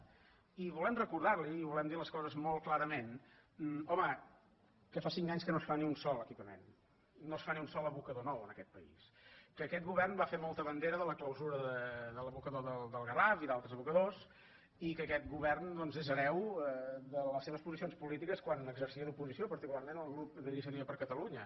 i volem recordar·li i volem dir les coses molt clarament home que fa cinc anys que no es fa ni un sol equipa·ment no es fa ni un sol abocador nou en aquest país que aquest govern va fer molta bandera de la clausura de l’abocador del garraf i d’altres abocadors i que aquest govern doncs és hereu de les seves posicions polítiques quan exercia d’oposició particularment el grup d’inicia·tiva per catalunya